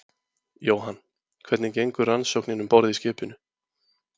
Jóhann: Hvernig gengur rannsóknin um borð í skipinu?